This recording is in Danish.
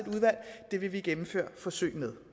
i vil vi gennemføre forsøg med